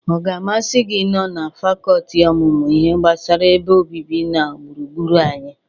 Ọ ga-amasị gi ị nọ na fakọltị ọmụmụ ihe gbasara ebe obibi na gburugburu anyị?